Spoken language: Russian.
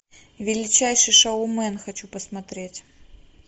величайший шоумен хочу посмотреть